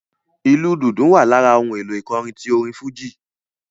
Ìlù dùndún wa lára ohùn èlò ìkọrin tí orin fújì